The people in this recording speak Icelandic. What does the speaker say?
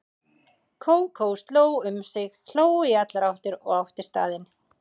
Kókó sló um sig, hló í allar áttir og átti staðinn.